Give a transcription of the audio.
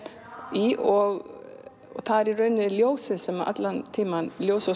í og það er í rauninni ljósið sem allan tímann ljósið